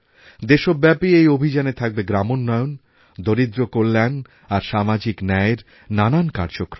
দেশব্যাপী এই অভিযানে থাকবে গ্রামোন্নয়ন দরিদ্রকল্যাণ আর সামাজিক ন্যায়ের নানান কার্যক্রম